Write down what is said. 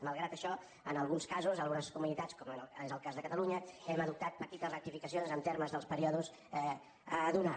malgrat això en alguns casos algunes comunitats com és el cas de catalunya hem adoptat petites rectificacions en termes dels períodes a donar